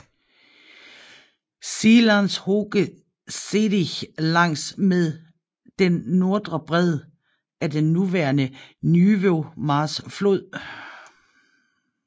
Schielands Hoge Zeedijk langs med den nordre bred af den nuværende Nieuwe Maas flod